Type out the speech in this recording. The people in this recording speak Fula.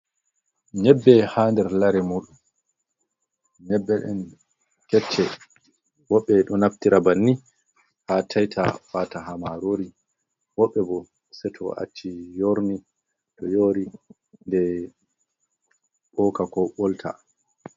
Nyebbe ha nder lare mun, nyebbe ɗen kecce woɓɓe ɗo naftira bannin ha taita fata wata ha marori, woɓɓe bo se to acci yorni to yori den ɓoka ko ɓolta.